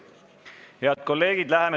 Head kolleegid!